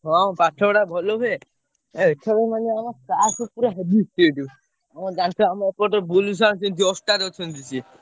ହଁ ପାଠ ପଢା ଭଲ ହୁଏ ଏଥର ନେହେଲେ ନାଇଁ ଆମ class ରେ ପୁରା heavy strict strict ହଁ ଜାଣିଚୁ ଆମ ଏପଟେ ବୁଲୁ sir ଙ୍କୁ ରେ ଅଛନ୍ତି ସିଏ।